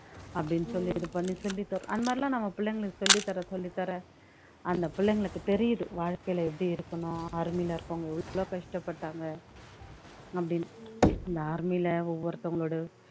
அப்படின்னு சொல்லி இது பண்ணி சொல்லிதரு அந்த மாதிரிலாம் நாம பிள்ளைங்களுக்கு சொல்லித்தர சொல்லித்தர அந்த பிள்ளைங்களுக்கு தெரியுது வாழ்க்கையில எப்படி இருக்கணும் army லே இருக்கவங்க எவ்வளோ கஷ்டப்பட்டாங்க அப்படின்னு அந்த army ல ஒவ்வொருத்தவங்களோட